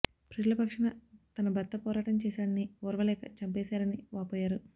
ప్రజల పక్షాన తన భర్త పోరాటం చేశాడని ఓర్వలేక చంపేశారని వాపోయారు